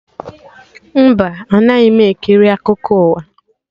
Mba, anaghị m ekiri akụkọ ụwa